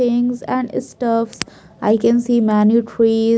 Things and stuffs i can see many tree.